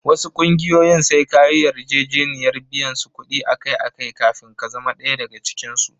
Wasu ƙungiyoyin sai ka yi yarjejeniyar biyan su kuɗi akai-akai kafin ka zama ɗaya daga cikinsu.